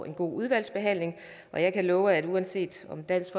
en god udvalgsbehandling og jeg kan love at uanset om dansk